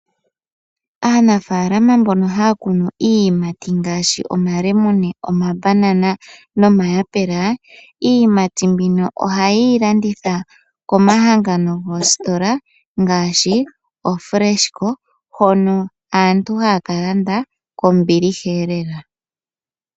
Aanafaalama mbono haya kunu iiyimati ngaashi omalemune, omabanana nomayapela iiyimati mbino ohaye yi landitha komahangano goositola ngaashi koFresco, hono aantu haya kalanda kombiliha lela.